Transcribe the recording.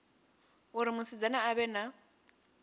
uri musidzana a vhe na